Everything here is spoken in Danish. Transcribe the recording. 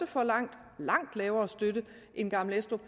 får langt langt lavere støtte end gammel estrup